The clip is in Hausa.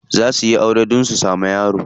Za suyi aure dan su samu yara.